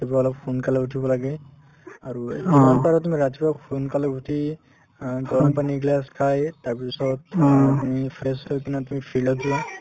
ৰাতিপুৱা অলপ সোনকালে উঠিব লাগে আৰু যিমান পাৰা তুমি ৰাতিপুৱা সোনকালে উঠি অ গৰমপানী একগিলাচ খায়ে তাৰপিছত তুমি fresh হৈ কিনে তুমি field ত যোৱা